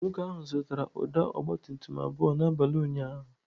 Nwoke ahụ zụtara ụdọ ọgabtumtum abụọ n'abalị ụnyaahụ.